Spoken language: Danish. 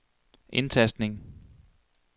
indtastning